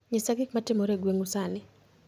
Nyisa gik matimore e gweng'u sani